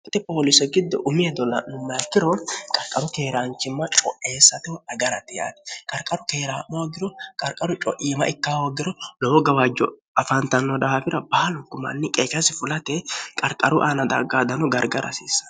hte pooliiso giddo umeedo l'nu mayakkiro qarqaru teeraanchimma co'eessateh agarati yaati qarqaru teeraa'mohoogiro qarqaru co'iima ikka hoogiro lowo gawaajjo afaantanno daafira baalu gumanni qeechasi fulate qarqaru aana daggaadano garga rasiissane